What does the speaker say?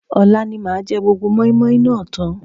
Ọ̀la ni màá jẹ gbogbo mọ́ímọ́í náà tán